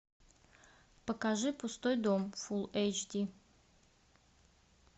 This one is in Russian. покажи пустой дом фул эйч ди